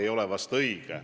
ei ole vahest õige.